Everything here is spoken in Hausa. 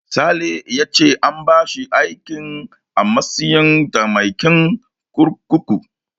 Sale ya ce an bashi aiki a matsayin mataimakin kurkuku.